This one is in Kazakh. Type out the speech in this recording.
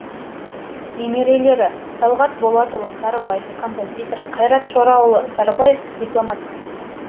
немерелері талғат болатұлы сарыбаев композитор қайрат шораұлы сарыбаев дипломат